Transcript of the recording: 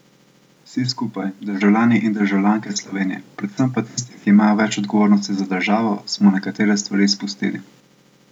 Vsi skupaj, državljani in državljanke Slovenije, predvsem pa tisti, ki imajo več odgovornosti za državo, smo nekatere stvari izpustili.